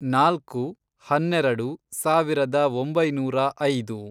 ನಾಲ್ಕು, ಹನ್ನೆರೆಡು, ಸಾವಿರದ ಒಂಬೈನೂರ ಐದು